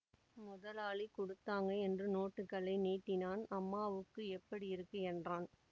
முதலாளி குடுத்தாங்க என்று நோட்டுகளை நீட்டினான் அம்மாவுக்கு எப்படி இருக்கு என்றான்